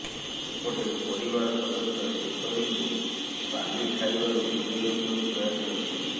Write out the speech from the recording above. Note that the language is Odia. ସେପଟେ ପରିବାର ସଦସ୍ୟ କେଶରୀଙ୍କୁ ବାଲି ଖାଇବାରୁ ଦୁରେଇ ରଖିବାକୁ ପ୍ରୟାସ କରିଥିଲେ